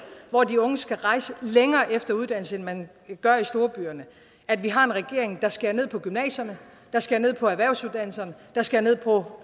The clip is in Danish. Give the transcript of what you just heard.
hvor de unge skal rejse længere efter uddannelse end man gør i de store byer at vi har en regering der skærer ned på gymnasierne der skærer ned på erhvervsuddannelserne der skærer ned på